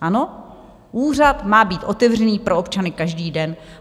Úřad má být otevřený pro občany každý den.